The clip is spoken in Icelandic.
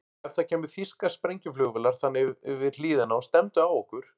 Ef það kæmu þýskar sprengjuflugvélar þarna yfir hlíðina og stefndu á okkur?